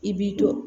I b'i dɔn